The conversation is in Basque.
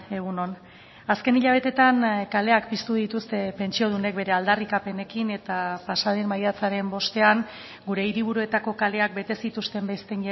egun on azken hilabeteetan kaleak piztu dituzte pentsiodunek bere aldarrikapenekin eta pasaden maiatzaren bostean gure hiriburuetako kaleak bete zituzten beste